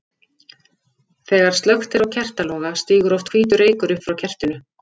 Þegar slökkt er á kertaloga stígur oft hvítur reykur upp frá kertinu.